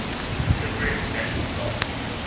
cypriot national guard